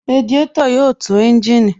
Radiátò yóò tu ẹ́ńjìnì